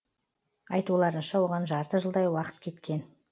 айтуларынша оған жарты жылдай уақыт кеткен